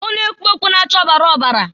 Ọ na-ekpu ọkpụ na-acha ọbara ọbara.